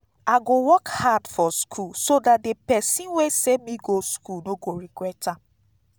i go work hard for school so dat the person wey send me go school no go regret am